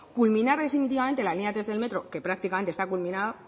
culminar definitivamente la línea tres del metro que prácticamente está culminada